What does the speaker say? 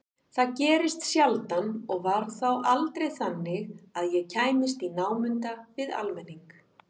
Það gerðist sjaldan og var þá aldrei þannig að ég kæmist í námunda við almenning.